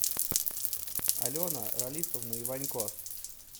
алена ралифовна иванько